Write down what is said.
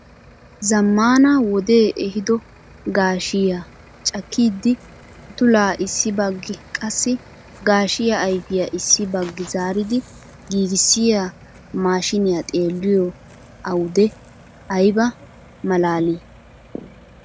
Zammaana wodee ehiido gaashshiyaa cakkidi utulaa issi baggi qassi gaashshiyaa ayfiyaa issi baggi zaaridi giigissiyaa maashiniyaa xeelliyoo owde ayba malaalii!